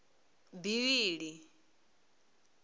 bivhili